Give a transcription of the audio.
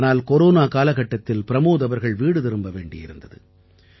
ஆனால் கொரோனா காலகட்டத்தில் பிரமோத் அவர்கள் வீடு திரும்ப வேண்டியிருந்தது